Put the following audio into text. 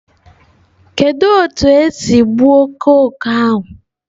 Kedu otu esi gbuo oke oke ahu?